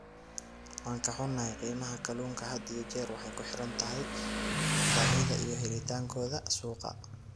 Waan ka xunnahay, qiimaha kalluunka had iyo jeer waxay ku xiran tahay baahida iyo helitaankooda suuqa.